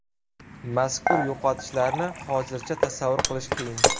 Mazkur yo‘qotishlarni hozircha tasavvur qilish qiyin.